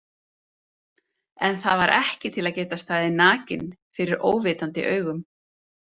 En það er ekki til að geta staðið nakinn fyrir óvitandi augum.